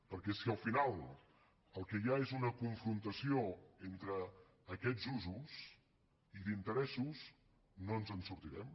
perquè si al final el que hi ha és una confrontació entre aquests usos i d’interessos no ens en sortirem